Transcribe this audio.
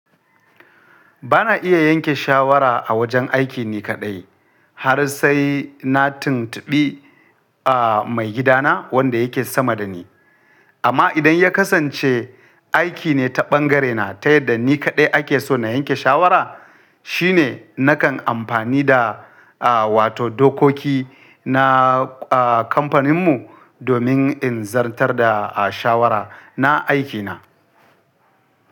Ba na iya yanke shawara a wajen aiki ni kaɗai har sai na tuntuɓi mai gidana wanda yake sama da ni. Amma idan ya kasance aiki ne ta ɓangarena ta yadda ni kaɗai ake so na yanke shawara, shi ne nakan amfani da wato dokoki na kamfaninmu domin in zartar da shawara na aikina.